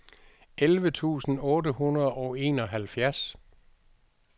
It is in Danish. elleve tusind otte hundrede og enoghalvfjerds